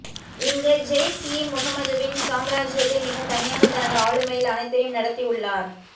இங்கு ஜெய்ஷ் இ முகமதுவின் சாம்ராஜ்யத்தை மிக தனியாக தனது ஆளுமையில் அனைத்தையும் நடத்தி உள்ளார்